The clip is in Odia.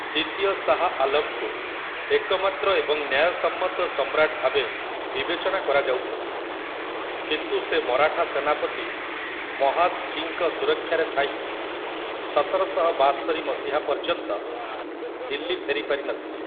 ଦ୍ୱିତୀୟ ଶାହ୍ ଆଲମ୍‌ଙ୍କୁ ଏକମାତ୍ର ଏବଂ ନ୍ୟାୟସମ୍ମତ ସମ୍ରାଟ ଭାବେ ବିବେଚନା କରାଯାଉଥିଲା, କିନ୍ତୁ ସେ ମରାଠା ସେନାପତି ମହାଦ୍‌ଜୀଙ୍କ ସୁରକ୍ଷାରେ ଥାଇ ସତରଶହ ବାସ୍ତରି ମସିହା ପର୍ଯ୍ୟନ୍ତ ଦିଲ୍ଲୀ ଫେରି ପାରିନଥିଲେ ।